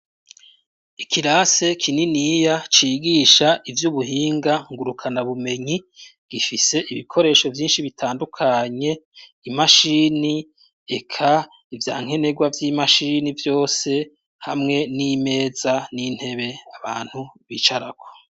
Ikirase kininiya cigisha ivy'ubuhinga ngurukana bumenyi, gifise ibikoresho vyinshi bitandukanye, imashini eka ivya nkenerwa vy'imashini vyose, hamwe n'imeza n'intebe abantu bicarako.